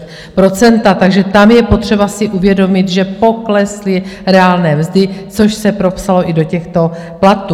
Takže tam je potřeba si uvědomit, že poklesly reálné mzdy, což se propsalo i do těchto platů.